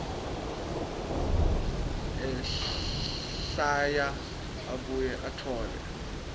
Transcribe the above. ehlwaya abuye atfole